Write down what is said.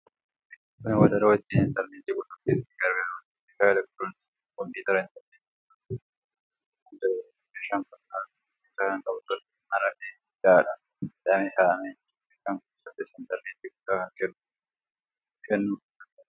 Kuni wadaroo ittiin intarneetii qunnamsiisuuf gargaarudha. Meeshaan elektirooniksii kun kompiitara intarneetitti quunnamsiifuuf kan gargaarudha. Meeshaan kun halluu cuquliisa kan qabu yoo ta'u, maramee hidhaadhaan hidhamee kaa'amee jira. Meeshaan kun saaffisa intarneetii guddaa kennuu kan danda'udha.